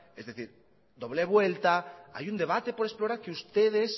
es decir doble vuelta hay un debate por explorar que ustedes